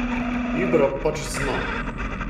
Ibra pač zna.